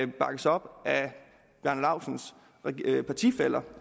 bakkes op af herre bjarne laustsens partifæller